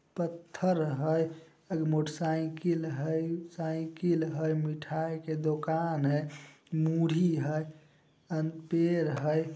पत्थर हेय अल मोटरसाइकिल हेय साइकिल हेय मिठाई के दोकान हेय मुढ़ी हेय अन पेड़ हेय।